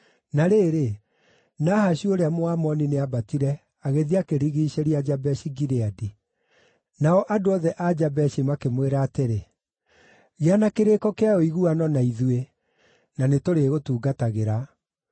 Na rĩrĩ, Nahashu ũrĩa Mũamoni nĩambatire agĩthiĩ akĩrigiicĩria Jabeshi-Gileadi. Nao andũ othe a Jabeshi makĩmwĩra atĩrĩ, “Gĩa na kĩrĩĩko kĩa ũiguano, na ithuĩ nĩ tũrĩgũtungatagĩra.”